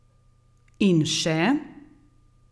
In še.